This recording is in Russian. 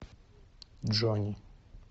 джонни